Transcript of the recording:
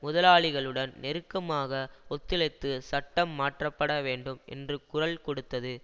முதலாளிகளுடன் நெருக்கமாக ஒத்துழைத்து சட்டம் மாற்றப்பட வேண்டும் என்று குரல் கொடுத்தது